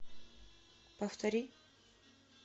повтори